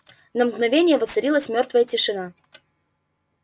на мгновение воцарилась мёртвая тишина